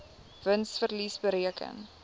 wins verlies bereken